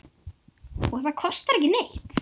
Og það kostar ekki neitt.